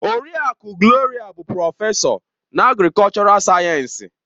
Oriakụ Gloria bụ prọfesọ na agrikọlchọral sayensị.